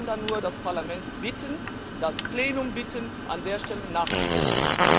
Ich kann da nur das Parlament und das Plenum bitten, an dieser Stelle nachzubessern.